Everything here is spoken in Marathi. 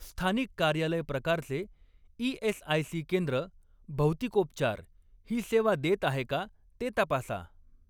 स्थानिक कार्यालय प्रकारचे ई.एस.आय.सी. केंद्र भौतिकोपचार ही सेवा देत आहे का ते तपासा.